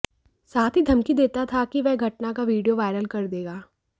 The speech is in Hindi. साथ ही धमकी देता था कि वह घटना का वीडियो वायरल कर देगा